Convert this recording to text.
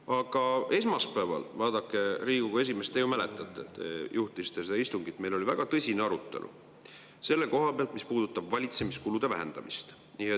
Aga esmaspäeval, vaadake, Riigikogu esimees – te ju mäletate, te juhtisite seda istungit –, oli meil väga tõsine arutelu selle koha pealt, mis puudutab valitsemiskulude vähendamist.